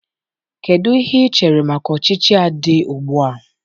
Kedu ihe ị chere maka ọchịchị a dị ugbu a?